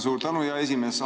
Suur tänu, hea esimees!